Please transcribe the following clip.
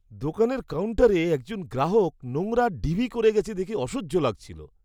দোকানের কাউন্টারে একজন গ্রাহক নোংরার ঢিবি করে গেছে দেখে অসহ্য লাগছিল।